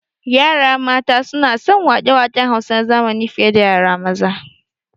Yara mata suna son waƙe waƙen Hausa na zamani fi ye da yara maza